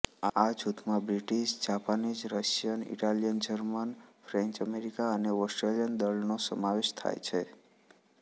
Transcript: આ જૂથમાં British Japanese Russian Italian German French America અને ઓસ્ટ્રીયન દળોનો સમાવેશ થાય છે